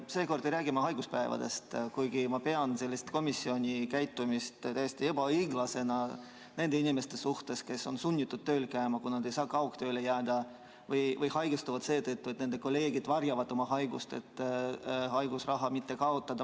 Seekord ei räägi ma haiguspäevadest, kuigi ma pean komisjoni sellist käitumist täiesti ebaõiglaseks nende inimeste suhtes, kes on sunnitud tööl käima, kuna nad ei saa kaugtööle jääda, või kes haigestuvad seetõttu, et nende kolleegid varjavad oma haigust, et mitte raha kaotada.